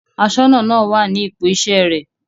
Aṣọ́nà náà wà ní ipò iṣẹ́ rẹ̀.